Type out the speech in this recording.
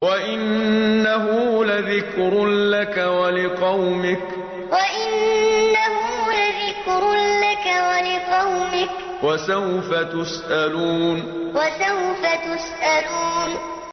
وَإِنَّهُ لَذِكْرٌ لَّكَ وَلِقَوْمِكَ ۖ وَسَوْفَ تُسْأَلُونَ وَإِنَّهُ لَذِكْرٌ لَّكَ وَلِقَوْمِكَ ۖ وَسَوْفَ تُسْأَلُونَ